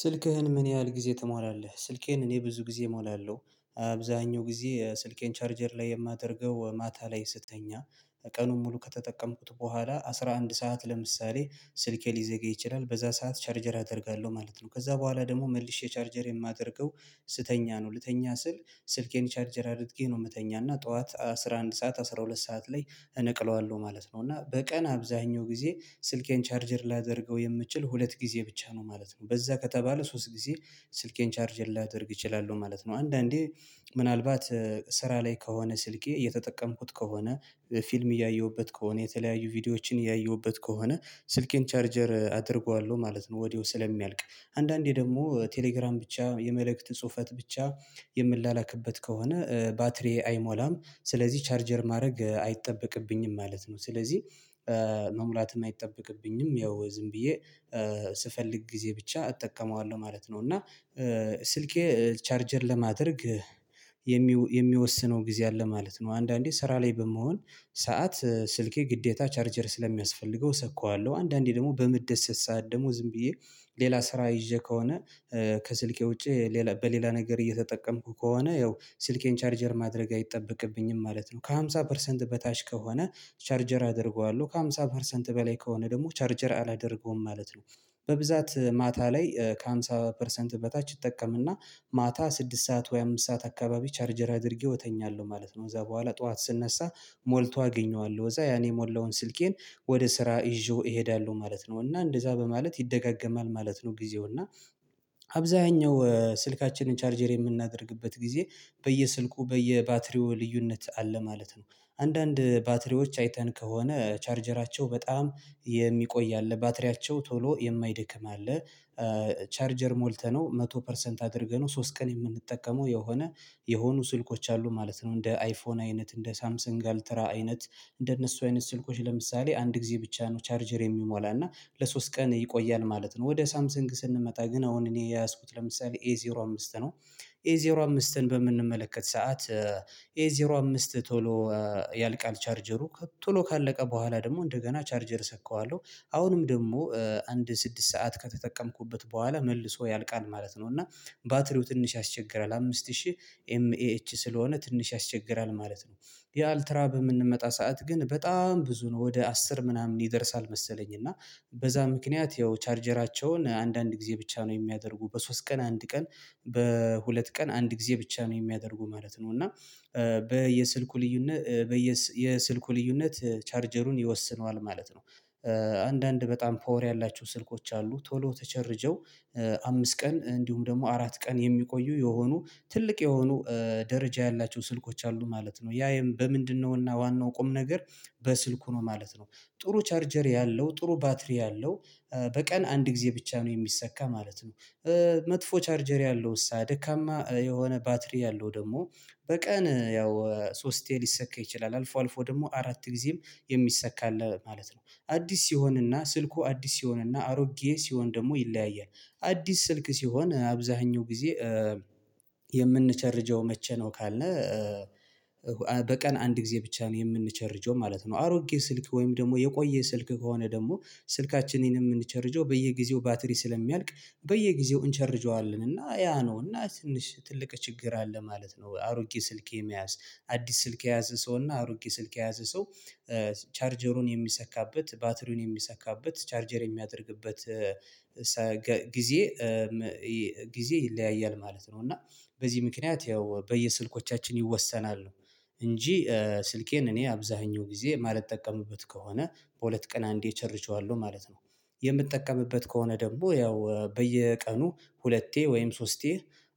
ስልክህን ምን ያህል ጊዜ ትሞላለህ? ስልኬን እኔ ብዙ ጊዜ እሞላለሁ። አብዛኛው ጊዜ ስልኬን ቻርጀር ላይ የማደርገው ማታ ላይ ስትተኛ፤ ቀኑን ሙሉ ከተጠቀምኩት በኋላ አስራ አንድ ሰዓት ለምሳሌ ስልኬ ሊዘጋ ይችላል። በዛ ሰዓት ቻርጀር አደርጋለሁ ማለት ነው። ከዛ በኋላ ደግሞ መልሼ ቻርጀር የማደርገው ስተኛ ነው። ልተኛ ስል ስልኬን ቻርጅር አድርጌ ነው የምተኛና ጠዋት አስራ አንድ ሰዓት አስራ ሁለት ሰዓት ላይ እነቅለዋለሁ ማለት ነው። እና በቀን አብዛኛው ጊዜ ስልኬን ቻርጀር ላደርገው የምችል ሁለት ጊዜ ብቻ ነው ማለት ነው። በዛ ከተባለ ሶስት ጊዜ ስልኬን ቻርጅ ላደርግ እችላለሁ ማለት ነው። አንዳንዴ ምናልባት ስራ ላይ ከሆነ ስልኬ እየተጠቀምኩት ከሆነ ፊልም እያየሁበት ከሆነ የተለያዩ ቪዲዮዎችን እያየሁበት ከሆነ ስልኬን ቻርጀር አደርገዋለሁ ማለት ነው። ወዲያው ስለሚያልቅ አንዳንዴ ደግሞ ቴሌግራም ብቻ የመልእክት ጽሁፈት ብቻ የምንላክበት ከሆነ ባትሪዬ አይሞላም። ስለዚህ ቻርጀር ማድረግ አይጠበቅብኝም ማለት ነው። ስለዚህ መሙላት አይጠበቅብኝም። ያው ዝም ብዬ ስፈልግ ጊዜ ብቻ እጠቀመዋለሁ ማለት ነው። እና ስልኬ ቻርጀር ለማድረግ የሚወስነው ጊዜ አለ ማለት ነው። አንዳንዴ ስራ ላይ በምሆን ሰዓት ስልኬ ግዴታ ቻርጀር ስለሚያስፈልገው እሰካዋለሁ። አንዳንዴ ደግሞ በምደሰት ሰዓት ደግሞ ዝም ብዬ ሌላ ስራ ይዤ ከሆነ ከስልኬ ውጪ ሌላ በሌላ ነገር እየተጠቀምኩ ከሆነ ያው ስልኬን ቻርጀር ማድረግ አይጠበቅብኝም ማለት ነው። ከሃምሳ ፐርሰንት በታች ከሆነ ቻርጀር አደርገዋለሁ። ከሃምሳ ፐርሰንት በላይ ከሆነ ደግሞ ቻርጀር አላደርገውም ማለት ነው። በብዛት ማታ ላይ ከሃምሳ ፐርሰንት በታች እጠቀምና ማታ ስድስት ሰዓት ወይ አምስት ሰዓት አካባቢ ቻርጀር አድርጌው እተኛለሁ ማለት ነው። ከዛ በኋላ ጠዋት ስነሳ ሞልቶ አገኘዋለሁ። ከዛ ያኔ የሞላውን ስልኬን ወደ ስራ ይዤው እሄዳለሁ ማለት ነው። እና እንደዛ በማለት ይደጋገማል ማለት ነው ጊዜው። እና አብዛኛው ስልካችንን ቻርጀር የምናደርግበት ጊዜ በየስልኩ በየባትሪው ልዩነት አለ ማለት ነው። አንዳንድ ባትሪዎች አይተን ከሆነ ቻርጀራቸው በጣም የሚቆይ አለ። ባትሪያቸው ቶሎ የማይደክም አለ። ቻርጀር ሞልተነው መቶ ፐርሰንት አድርገነው ሶስት ቀን የምንጠቀመው የሆነ የሆኑ ስልኮች አሉ ማለት ነው። እንደ አይፎን አይነት እንደ ሳምሰን አልትራ አይነት እንደነሱ አይነት ስልኮች ለምሳሌ አንድ ጊዜ ብቻ ነው ቻርጀር የሚሞላና። ለሶስት ቀን ይቆያል ማለት ነው። ወደ ሳምሰንግ ስንመጣ ግን አሁን እኔ የያዝኩት ለምሳሌ ኤዜሮ አምስት ነው። ኤ ዜሮ አምስትን በምንመለከት ሰዓት ኤ ዜሮ አምስት ቶሎ ያልቃል ቻርጀሩ፤ ቶሎ ካለቀ በኋላ ደግሞ እንደገና ቻርጀር እሰካዋለሁ። አሁንም ደግሞ አንድ ስድስት ሰዓት ከተጠቀምኩበት በኋላ መልሶ ያልቃል ማለት ነው። እና ባትሪው ትንሽ ያስቸግራል አምስት ሺህ ኤምኤች ስለሆነ ትንሽ ያስቸግራል ማለት ነው። የአልትራ በምንመጣ ሰዓት ግን በጣም ብዙ ነው ወደ አስር ምናምን ይደርሳል መሰለኝ። እና በዛ ምክንያት ያው ቻርጀራቸውን አንዳንድ ጊዜ ብቻ ነው የሚያደርጉ በሶስት ቀን አንድ ቀን በሁለት ቀን አንድ ጊዜ ብቻ ነው የሚያደርጉ ማለት ነው። እና በየስልኩ ልዩነት በየ የስልኩ ልዩነት ቻርጀሩን ይወስነዋል ማለት ነው። አንዳንድ በጣም ፓወር ያላችሁ ስልኮች አሉ። ቶሎ ተቸርጀው አምስት ቀን እንዲሁም ደግሞ አራት ቀን የሚቆዩ የሆኑ ትልቅ የሆኑ ደረጃ ያላቸው ስልኮች አሉ ማለት ነው። ያ በምንድነውና ዋናው ቁም ነገር በስልኩ ነው ማለት ነው። ጥሩ ቻርጀር ያለው ጥሩ ባትሪ ያለው በቀን አንድ ጊዜ ብቻ ነው የሚሰካ ማለት ነው። መጥፎ ቻርጀር ያለው እሳ ደካማ የሆነ ባትሪ ያለው ደግሞ በቀን ያው ሶስቴ ሊሰካ ይችላል። አልፎ አልፎ ደግሞ አራት ጊዜም የሚሰካለ አለ ማለት ነው። አዲስ ሲሆንና ስልኩ አዲስ ሲሆንና አሮጌ ሲሆን ደግሞ ይለያያል። አዲስ ስልክ ሲሆን አብዛኛው ጊዜ የምንቸርጀው መቼ ነው ካልነ በቀን አንድ ጊዜ ብቻ ነው የምንቸርጀው ማለት ነው። አሮጌ ስልክ ወይም ደግሞ የቆየ ስልክ ከሆነ ደግሞ ስልካችንን የምንቸርጀው በየጊዜው ባትሪ ስለሚያልቅ በየጊዜው እንቸርጀዋለን። እና ያ ነው እና ትንሽ ትልቅ ችግር አለ ማለት ነው አሮጌ ስልክ የመያዝ አዲስ ስልክ የያዘ ሰው እና አሮጌ ስልክ የያዘ ሰው ቻርጀሩን የሚሰካበት ባትሪውን የሚሰካበት ቻርጀር የሚያደርግበት ጊዜ ጊዜ ይለያያል ማለት ነው። እና በዚህ ምክንያት ያው በየስልኮቻችን ይወሰናል እንጂ ስልኬን እኔ አብዛኛው ጊዜ ማለት ጠቀምኩበት ከሆነ በሁለት ቀን አንዴ እቸርጀዋለሁ ማለት ነው። የምጠቀምበት ከሆነ ደግሞ ያው በየቀኑ ሁለቴ ወይም ሶስቴ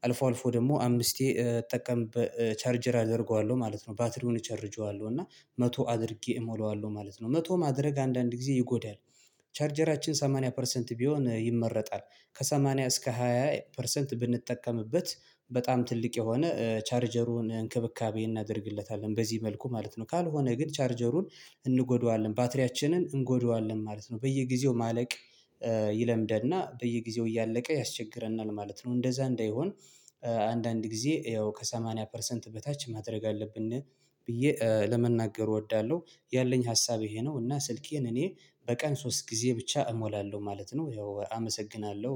አልፎ አልፎ ደግሞ አምስቴ እጠቀምበ ቻርጀር አደርገዋለሁ ማለት ነው። ባትሪውን እቸርጄዋለሁ እና መቶ አድርጌ እሞላዋለሁ ማለት ነው። መቶ ማድረግ አንዳንድ ጊዜ ይጎዳል። ቻርጀራችን ሰማንያ ፐርሰንት ቢሆን ይመረጣል ከሰማንያ እስከ ሃያ ፐርሰንት ብንጠቀምበት በጣም ትልቅ የሆነ ቻርጀሩን እንክብካቤ እናደርግለታለን በዚህ መልኩ ማለት ነው። ካልሆነ ግን ቻርጀሩን እንጎደዋለን ባትሪያችንን እንጎደዋለን ማለት ነው። በየጊዜው ማለቅ ይለምደና በየጊዜው እያለቀ ያስቸግረናል ማለት ነው። እንደዛ እንዳይሆን አንዳንድ ጊዜ ያው ከሰማኒያ ፐርሰንት በታች ማድረግ አለብን ብዬ ለመናገር እወዳለሁ። ያለኝ ሀሳብ ይሄ ነው እና ስልኬን እኔ በቀን ሶስት ጊዜ ብቻ እሞላለሁ ማለት ነው። ያው አመሰግናለሁ።